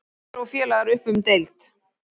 Heiðar og félagar upp um deild